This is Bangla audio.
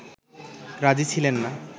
রাজি ছিলেন না